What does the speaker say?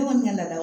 Ne kɔni na